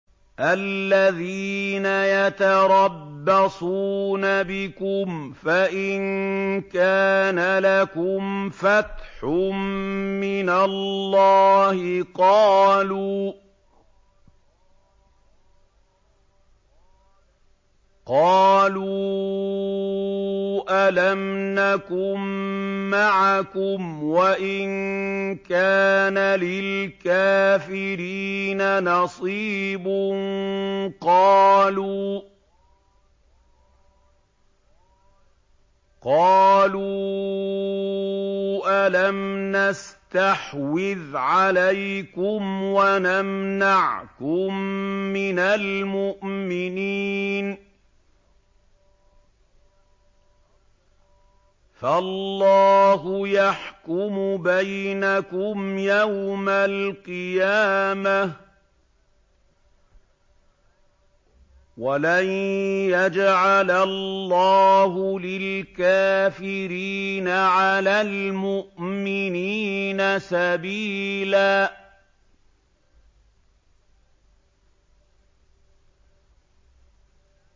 الَّذِينَ يَتَرَبَّصُونَ بِكُمْ فَإِن كَانَ لَكُمْ فَتْحٌ مِّنَ اللَّهِ قَالُوا أَلَمْ نَكُن مَّعَكُمْ وَإِن كَانَ لِلْكَافِرِينَ نَصِيبٌ قَالُوا أَلَمْ نَسْتَحْوِذْ عَلَيْكُمْ وَنَمْنَعْكُم مِّنَ الْمُؤْمِنِينَ ۚ فَاللَّهُ يَحْكُمُ بَيْنَكُمْ يَوْمَ الْقِيَامَةِ ۗ وَلَن يَجْعَلَ اللَّهُ لِلْكَافِرِينَ عَلَى الْمُؤْمِنِينَ سَبِيلًا